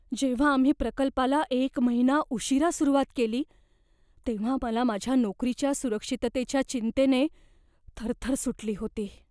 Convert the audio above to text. जेव्हा आम्ही प्रकल्पाला एक महिना उशीरा सुरुवात केली तेव्हा मला माझ्या नोकरीच्या सुरक्षिततेच्या चिंतेने थरथर सुटली होती.